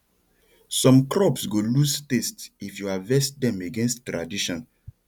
some crops go lose taste if you harvest dem against tradition